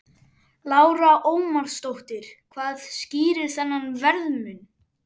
Lára Ómarsdóttir: Hvað skýrir þennan verðmun?